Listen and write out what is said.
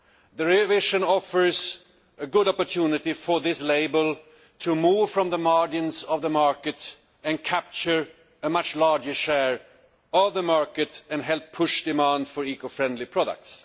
The revision offers a good opportunity for this label to move away from the margins of the market, to capture a much larger share of the market and to help push demand for eco friendly products.